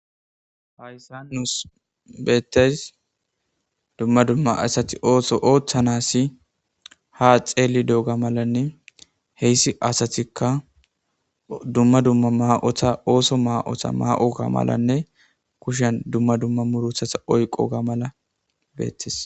Hayssa nus beettes dumma dumma asati ooso ooththanassi ha xeeli dooga malanne heyssi asatikka dumma dumma ma7otha ooso ma7otha ma7o ga malanne kushen dumma dumma murothatha oyqo ga mala beettes.